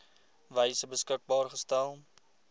wyse beskikbaar gestel